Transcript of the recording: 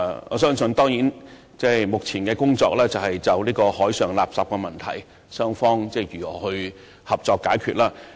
我相信，雙方目前的工作當然是集中就海上垃圾問題商討合作解決方法。